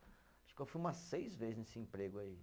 Acho que eu fui umas seis vezes nesse emprego aí.